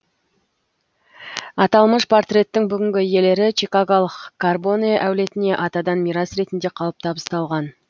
аталмыш портреттің бүгінгі иелері чикаголық карбоне әулетіне атадан мирас ретінде қалып табысталған